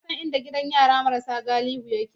Ka san inda gidan yara marasu galihu yake?